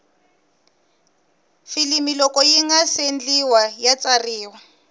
filimi loko yingase ndliwa ya tsariwa